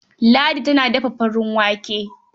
Ladi ta dafa farin wake.